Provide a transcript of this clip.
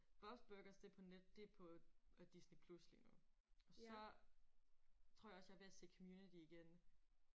Bobs Burgers det på net det på Disney Plus lige nu. Og så tror jeg også jeg er ved at se community igen